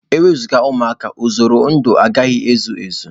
Enwezuga ụmụaka, usoro ndụ agaghị ezu Ezi.